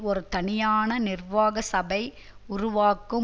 ஒரு தனியான நிர்வாக சபை உருவாக்கும்